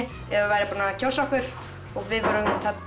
ef væri búið að kjósa okkur við vorum